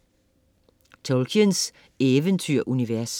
Tolkiens eventyrunivers